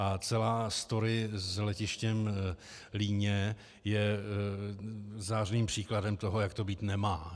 A celá story s letištěm Líně je zářným příkladem toho, jak to být nemá.